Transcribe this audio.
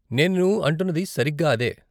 నేను అంటున్నది సరిగ్గా అదే.